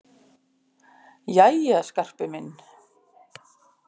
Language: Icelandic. Jæja, Skarpi minn.